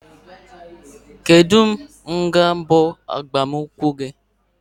Kedụ mgbe bụ agbam nkwụ gi?